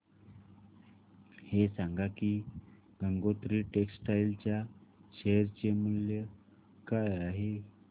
हे सांगा की गंगोत्री टेक्स्टाइल च्या शेअर चे मूल्य काय आहे